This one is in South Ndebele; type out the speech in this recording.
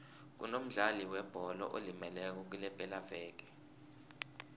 kunomdlali webholo olimeleko kulepelaveke